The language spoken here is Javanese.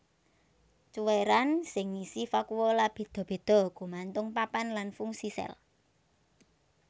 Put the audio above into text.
Cuwèran sing ngisi vakuola béda béda gumantung papan lan fungsi sel